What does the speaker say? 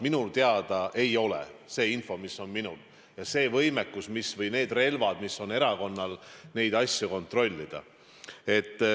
Minu teada ei ole – see on see info, mis on minul, ja see võimekus, mis on erakonnal neid asju kontrollida.